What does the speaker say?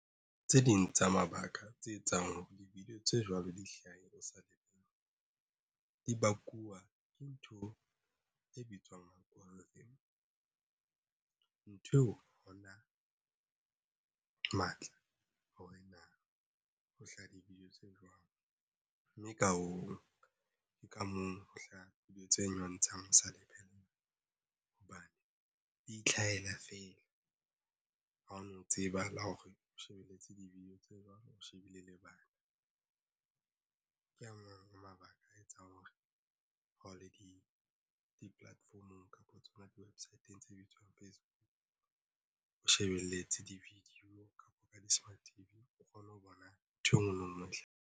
Tse ding tsa mabaka tse etsang hore di-video tse jwalo di hlahe o sa lebellwa di bakuwa ke ntho e bitswang goal nthweo. Hona matla hore na ho hlaha di-video tse jwang, mme ka hoo ke ka moo ho hlaha video tse nyontshang o sa di lebella hobane di itlhahela fela. Ha o no tseba la ho re o shebelletse di-video tse jwang o shebile lebala Ke a mang a mabaka a etsang hore ha o le di-platform-ong kapa tsona di website tse bitswang Facebook o shebelletse di-video kapa ka di-smart T_V o kgone ho bona ntho engwe le ngwe hle.